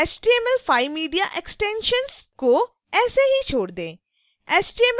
html5mediaextensions को ऐसे ही छोड़ दें